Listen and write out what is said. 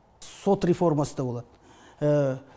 сот реформасы да болады